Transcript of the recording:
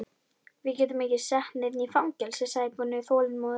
Við getum ekki sett neinn í fangelsi, sagði Gunni þolinmóður.